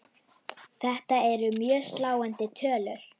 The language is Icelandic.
Þetta eru mjög sláandi tölur.